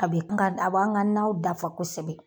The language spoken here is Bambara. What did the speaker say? A be n ka a b'an ka naw dafa kosɛbɛ